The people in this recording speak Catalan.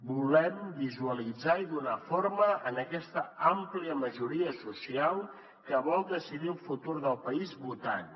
volem visualitzar i donar forma a aquesta àmplia majoria social que vol decidir el futur del país votant